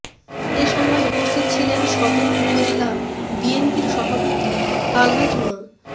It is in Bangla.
এ সময় উপস্থিত ছিলেন সদর উপজেলা বিএনপির সভাপতি আলহাজ মো